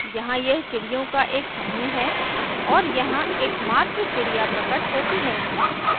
यहाँ यह चिड़ियों का एक समूह है और यहाँ एकमात्र चिड़िया प्रकट होती है